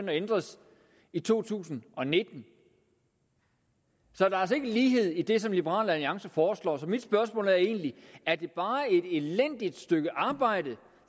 at ændres i to tusind og nitten der er altså ikke lighed i det som liberal alliance foreslår så mit spørgsmål er egentlig er det bare et elendigt stykke arbejde